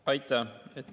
Aitäh!